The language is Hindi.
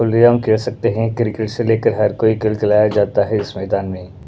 ऑलरेडी हम कह सकते हैं क्रिकेट से लेकर हर कोई खेल खिलाया जाता है इस मैदान में--